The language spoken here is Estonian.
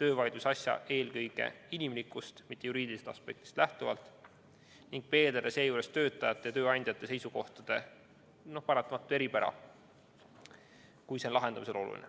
töövaidlusasja eelkõige inimlikust, mitte juriidilisest aspektist lähtuvalt ning arvestada seejuures töötajate ja tööandjate seisukohtade paratamatut eripära, kui see on lahendamisel oluline.